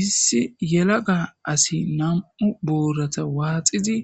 Issi yelaga asi nam7u buurata waaxizi